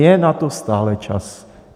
Je na to stále čas.